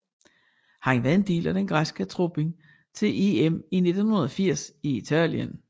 Han var en del af den græske trup til EM i 1980 i Italien